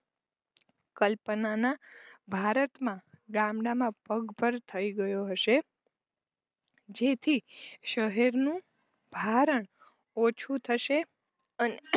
કલ્પનાના ભારતમાં ગામડામાં પગભર થઈ ગયો હશે જેથી શહેરનું ભારણ ઓછું થશે અને